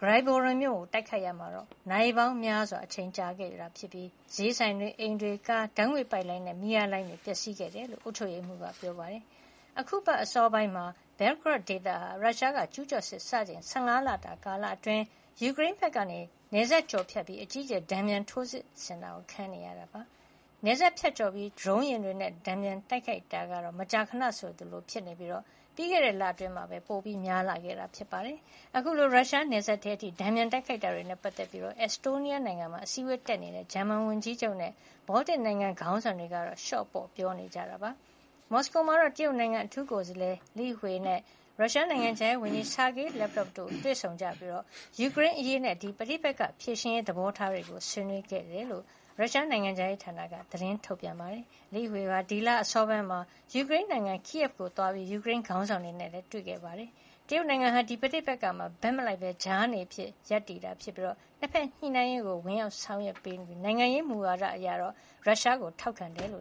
ဂရိုင်ဗိုရွန်မြို့ တိုက်ခိုက်ရာမှာတော့ နာရီပေါင်းများစွာ အချိန်ကြာမြင့်ခဲ့ပြီး ဈေးဆိုင်၊ အိမ်တွေ၊ ကား၊ ဓါတ်ငွေ့ပိုက်လိုင်းနဲ့ မီးအား လိုင်းတွေ ပျက်စီးခဲ့တယ်လို့ အုပ်ချုပ်ရေးမှုးက ပြောပါတယ်။ အခုအပတ် အစောပိုင်းမှာတော့ ဘဲဂရော့ ဒေသဟာ ရုရှားက ကျူးကျော်စစ်စချိန် ၁၅ လတာ ကာလအတွင်းမှာ ယူကရိန်းဖက်ကနေ နယ်စပ်ဖြတ်ကျော်ကာ အကြီးအကျယ် တန်ပြန် ထိုးစစ်ဆင်တာခံနေရတာပါ။ နယ်စပ်ဖြတ်ကျော်ကာ ဒရုန်းယဉ်တွေနဲ့ တန်ပြန်တိုက်ခိုက်တာကတော့ မကြာခဏဆိုသလို ဖြစ်နေပြီး ပြီးခဲ့တဲ့ လအတွင်းမှာ ပိုမို များပြားလာခဲ့တာပါ။ အခုလို ရုရှားနယ်စပ်ထဲ အထိ တန်ပြန် တိုက်ခိုက်တာတွေနဲ့ ပတ်သက်ပြီး အက်စ်တိုးနီးယားနိုင်ငံမှာ အစည်းအဝေးတက်ရောက်နေတဲ့ ဂျာမန် ဝန်ကြီးချုပ်နဲ့ ဘောလ်တစ်နိုင်ငံ ခေါင်းဆောင်တွေကတော့ လျော့ပေါ့ ပြောကြားကြပါတယ်။ မော်စကိုမှာတော့ တရုတ်နိုင်ငံအထူးကိုယ်စားလှယ် Li Hui လိဟွေနဲ့ ရုရှားနိုင်ငံခြားရေးဝန်ကြီး Sergey Lavrov ဆာဂေးလပ်ရော တို့ တွေ့ဆုံကြပြီး ယူကရိန်းအရေးနဲ့ ဒီ ပဋိပက္ခ ဖြေရှင်းရေး သဘောထားတွေ ဆွေးနွေးခဲ့ကြပါတယ်လို့ ရုရှားနိုင်ငံခြားရေးဌာနက ထုတ်ပြန်ပါတယ်။ Li Hui လိဟွေဟာ ဒီလ အစောပိုင်းက ယူကရိန်းနိုင်ငံ မြို့တော် Kyiv ကိရ ကို သွားရောက်ပြီး ယူကရိန်းခေါင်းဆောင်တွေနဲ့ တွေ့ဆုံခဲ့တာ ဖြစ်ပါတယ်။ တရုတ်နိုင်ငံဟာ ဒီ ပဋိပက္ခမှာ ဘက်မလိုက်ဘဲ ကြားနေအဖြစ်ရပ်တည်ကာ ၂ ဖက် ညှိနှိုင်းနိုင်ရေးအတွက် ဝင်ရောက်ဆောင်ရွက်ပေးတာ ဖြစ်ပြီး နိုင်ငံရေးမူဝါဒအရတော့ ရုရှားအစိုးရကို ထောက်ခံတယ်လိ